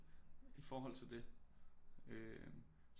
I forhold til det øh